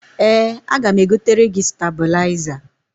Ee, aga m egotere gi stabụlaịza.